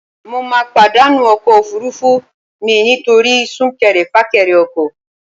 Mo ma pàdánù ọkọ̀ òfurufú mi nítorí súnkere-fàkere ọkọ